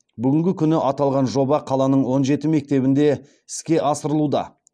бүгінгі күні аталған жоба қаланың он жеті мектебінде іске асырылуда